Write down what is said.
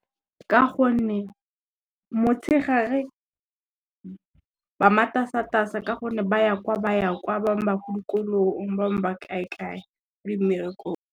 Ka gonne motshegare, ba matasatasa ka gonne ba ya kwa ba ya kwa, ba bang ba ko dikolong, ba bang ba kae kae le mmerekong.